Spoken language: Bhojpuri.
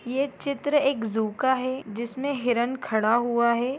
ये चित्र एक जू का है जिसमे हिरन खड़ा हुआ है।